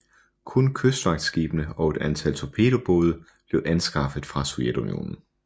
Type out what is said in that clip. Kun kystvagtskibene og et antal torpedobåde blev anskaffet fra Sovjetunionen